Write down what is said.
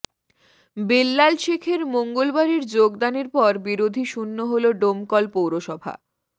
বেল্লাল সেখের মঙ্গলবারের যোগ দানের পর বিরোধী শূন্য হল ডোমকল পৌরসভা